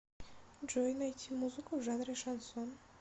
джой найти музыку в жанре шансон